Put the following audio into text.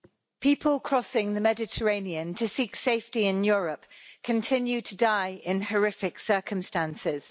Mr President, people crossing the Mediterranean to seek safety in Europe continue to die in horrific circumstances.